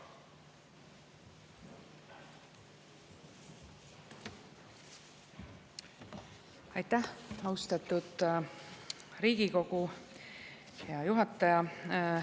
Aitäh, austatud Riigikogu juhataja!